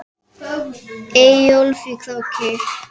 Eyjólf í Króki.